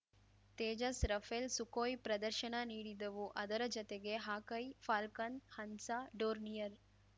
Tejas Rafale Sukhoi ಪ್ರದರ್ಶನ ನೀಡಿದವು ಅದರ ಜತೆಗೆ ಹಾಕ್‌ಐ ಫಾಲ್ಕನ್‌ ಹನ್ಸ ಡೋರ್ನಿಯರ್‌